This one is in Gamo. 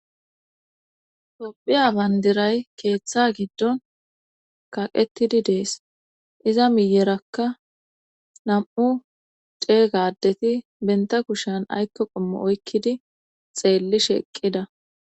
tophiya bandiray keeththa giddon kaqettidi dees iza miyerakka nam7u dee gadeti benta kushan aykko qommo oykkidi xeelli sheeqqida